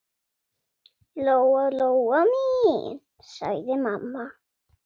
Lóa-Lóa mín, sagði mamma.